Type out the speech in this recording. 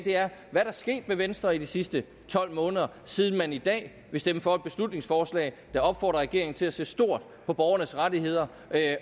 hvad er der sket med venstre i de sidste tolv måneder siden man i dag vil stemme for et beslutningsforslag der opfordrer regeringen til at se stort på borgernes rettigheder